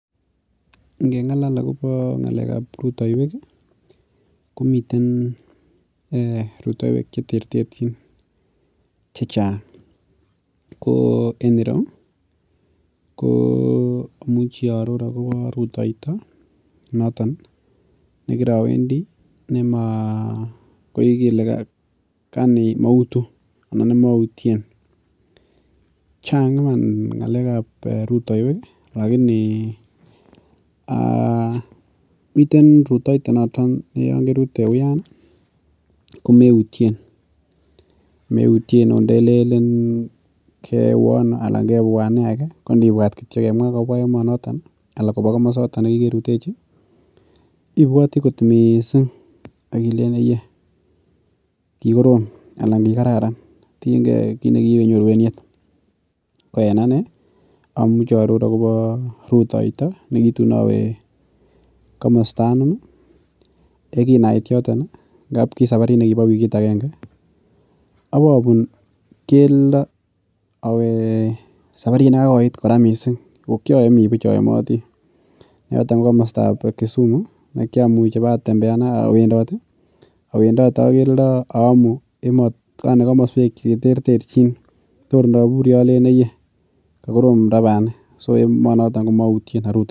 Ingeng'alal akobo ng'alekab rutaiwek ih , ko rutaiwek komi koterterchin, anan mi konyil chechang. Ko enireu ko amuchi akobo rutaito noton nekirawendi aani mautu anan maurien. Chang iman ng'alekab rutaiwek, miten iman rutaito Yoon kewe uyan ko meytien. Okoth ndelenen keweano konibuat kemwa anan koba kamosoton kikerutechi ih ibuati kot missing akilenen . Ye kikorom anan kikararan tienge kit nekiibenyoru en yet ko enane abuati Akobo rutaito nekitun awe komosto anum ih yekinait yoton ngamun kisaparit nekibo wikit ababun keldo. Awee saparit nikikoit missing kokiaemi buch aemoti. Yoton ko kamastab Kisumu ih kiamuch atembean awendate ak keldo aamu kakmasuek cheterterchin kor ndaburi alen ayee. Kakorom ra bani. So banan komautien